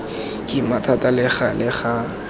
kima thata le gale ga